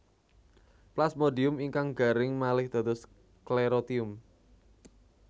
Plasmodium ingkang garing malih dados sklerotium